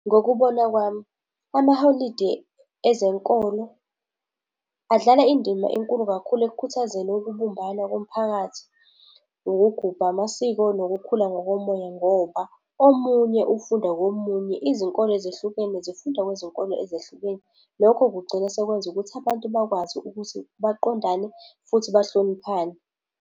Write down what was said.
Ngokubona kwami, amaholidi ezenkolo adlala indima enkulu kakhulu ekukhuthazeni ukubumbana komphakathi. Ngokugubha amasiko nokukhula ngokomoya, ngoba omunye ufunda komunye, izinkolo ezehlukene zifunda kwizinkolo ezehlukene. Lokho kugcina sekwenza ukuthi abantu bakwazi ukuthi baqondane futhi bahloniphane.